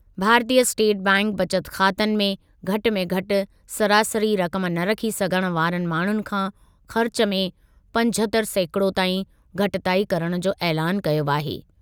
भारतीय स्टेट बैंकु बचत ख़ातनि में घटि में घटि सरासरी रक़म न रखी सघण वारनि माण्हुनि खां ख़र्चु में पंजहतरि सैकिड़ो ताईं घटिताई करणु जो ऐलानु कयो आहे।